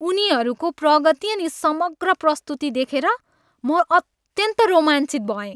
उनीहरूको प्रगति अनि समग्र प्रस्तुति देखेर म अत्यन्त रोमाञ्चित भएँ।